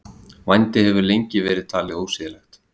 Vændi hefur lengi verið talið ósiðlegt.